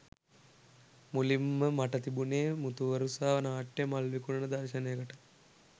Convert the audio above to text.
මුලින්ම මට තිබුණෙ මුතුවරුසා නාට්‍යයේ මල් විකුණන දර්ශනයකටයි.